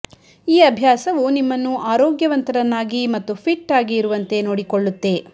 ಈ ಅಭ್ಯಾಸವು ನಿಮ್ಮನ್ನು ಆರೋಗ್ಯವಂತರನ್ನಾಗಿ ಮತ್ತು ಫಿಟ್ ಆಗಿ ಇರುವಂತೆ ನೋಡಿಕೊಳ್ಳುತ್ತೆ